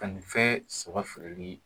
Ka nin fɛn saba feereli